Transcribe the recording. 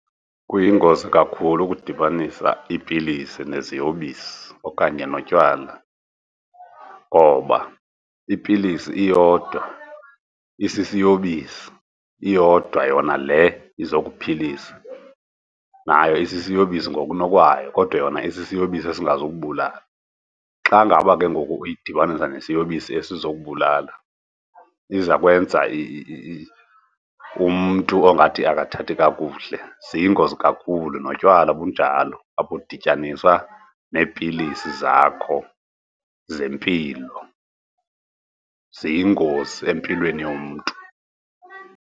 Kuyingozi kakhulu ukudibanisa iipilisi neziyobisi okanye notywala ngoba ipilisi iyodwa, isisiyobisi. Iyodwa yona le izokuphilisa nayo isisiyobisi ngokunokwayo kodwa yona isisiyobisi esingazukubulala. Xa ngaba ke ngoku uyidibanise nesiyobisi esizokubulala, iza kwenza umntu ongathi ukathathi kakuhle, ziyingozi kakhulu. Notywala bunjalo, akudityaniswa neepilisi zakho zempilo, ziyingozi empilweni yomntu.